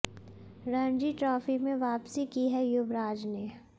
Ranji trophy में वापसी की है युवराज ने